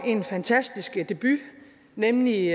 en fantastisk debut nemlig